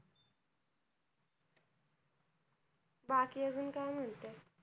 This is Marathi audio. बाकी अजून काय म्हणते?